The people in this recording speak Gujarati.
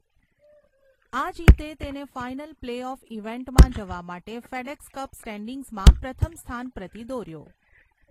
આ જીતે તેને ફાઇનલ પ્લે ઑફ ઇવેન્ટમાં જવા માટે ફેડએક્સ કપ સ્ટૅન્ડિંગ્સમાં પ્રથમ સ્થાન પ્રતિ દોર્યો.